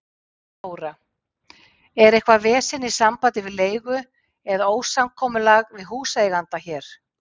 Þóra: Er eitthvað vesen í sambandi við leigu eða ósamkomulag við húseiganda hér?